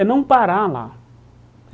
É não parar lá.